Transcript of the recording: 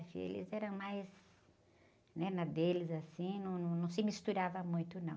Eles eram mais, né? Na deles, assim, não, não, não se misturava muito, não.